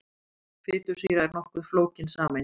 Fitusýra er nokkuð flókin sameind.